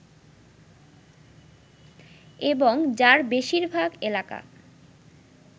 এবং যার বেশিরভাগ এলাকা